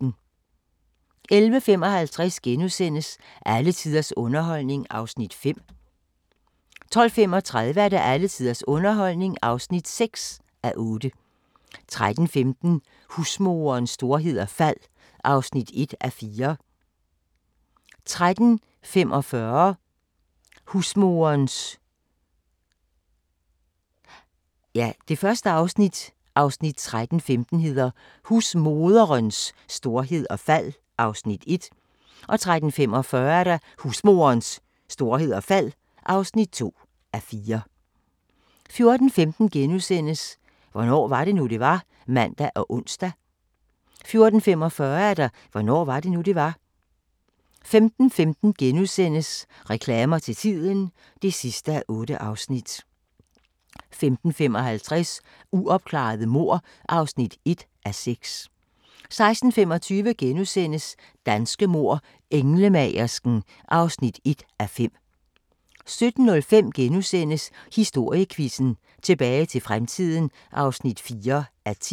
11:55: Alle tiders underholdning (5:8)* 12:35: Alle tiders underholdning (6:8) 13:15: Husmoderens storhed og fald (1:4) 13:45: Husmorens storhed og fald (2:4) 14:15: Hvornår var det nu, det var? *(man og ons) 14:45: Hvornår var det nu, det var? 15:15: Reklamer til tiden (8:8)* 15:55: Uopklarede mord (1:6) 16:25: Danske mord: Englemagersken (1:5)* 17:05: Historiequizzen: Tilbage til fremtiden (4:10)*